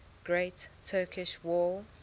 great turkish war